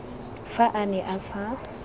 fa a ne a sa